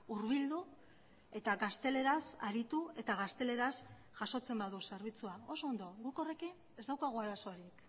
hurbildu eta gazteleraz aritu eta gazteleraz jasotzen badu zerbitzua oso ondo guk horrekin ez daukagu arazorik